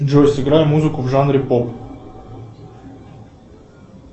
джой сыграй музыку в жанре поп